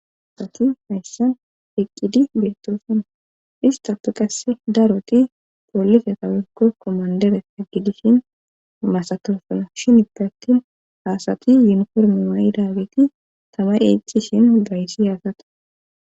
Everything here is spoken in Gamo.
Asati hayssan eqqidi beettosana istapu qasse daroti pollite tawikko kommandere haggidishin masatofana shin ipe attin haasati yunformi wa7i daageti tama eccishin gayssi haasata.